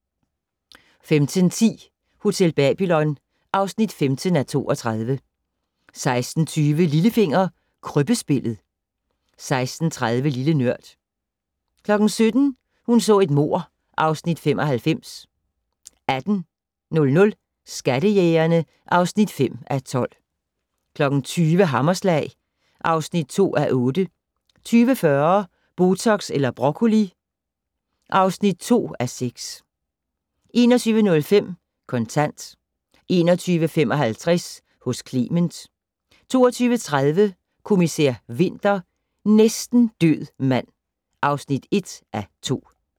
15:10: Hotel Babylon (15:32) 16:20: Lillefinger - Krybbespillet 16:30: Lille Nørd 17:00: Hun så et mord (Afs. 95) 18:00: Skattejægerne (5:12) 20:00: Hammerslag (2:8) 20:40: Botox eller broccoli (2:6) 21:05: Kontant 21:55: Hos Clement 22:30: Kommissær Winter: Næsten død mand (1:2)